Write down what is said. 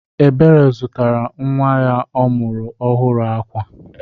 Ebere zụtara nnwa ya ọ mụrụ ọhụrụ akwa